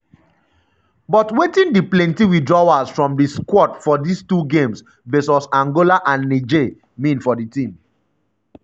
but wetin di plenty withdrawals from di squad squad for dis two games vs angola and niger mean for di team?